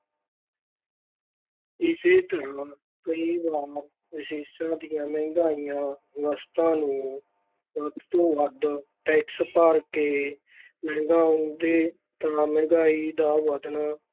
ਇਸੇ ਤਰ੍ਹਾਂ ਕਈ ਵਾਰ ਵਿਦੇਸ਼ਾਂ ਦੀਆਂ ਮਹਿੰਗੀਆਂ ਵਸਤਾਂ ਨੂੰ ਵੱਧ ਤੋਂ ਵੱਧ ਟੈਕਸ ਭਰ ਕੇ ਮੰਗਵਾਉਂਦੇ ਤਾਂ ਮਹਿੰਗਾਈ ਦਾ ਵਧਣਾ